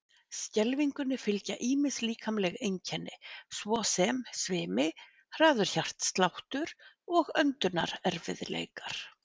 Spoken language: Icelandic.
Skelfingunni fylgja ýmis líkamleg einkenni svo sem svimi, hraður hjartsláttur, og öndunarerfiðleikar.